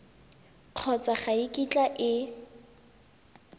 kgotsa ga e kitla e